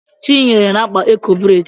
Chinyere na-akpa eko bredi